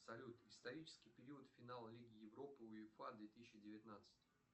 салют исторический период финал лиги европы уефа две тысячи девятнадцать